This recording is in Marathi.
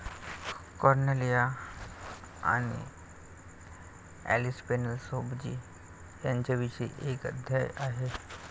कॉर्नेलिआ आणि ॲलिस पेनल सोबजी यांच्याविषयी एक अध्याय आहे.